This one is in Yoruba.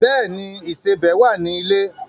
Bẹ́ẹ̀ ni, ìsẹbẹ̀ wà ní ilé.